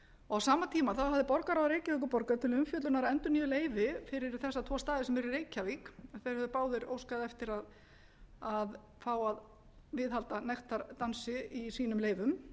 á sama tíma hafði borgarráð reykjavíkurborgar til umfjöllunar endurnýjuð leyfi fyrir þessa tvo staði sem eru í reykjavík þeir höfðu báðir óskað eftir að fá að viðhalda nektardansi í sínum leyfum